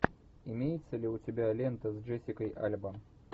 имеется ли у тебя лента с джессикой альба